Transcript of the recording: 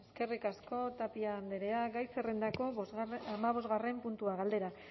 eskerrik asko tapia andrea gai zerrendako hamabosgarren puntua galdera